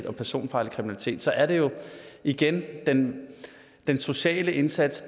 og personfarlig kriminalitet så er det jo igen den sociale indsats